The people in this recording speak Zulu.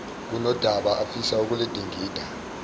kunodaba afisa ukuludingida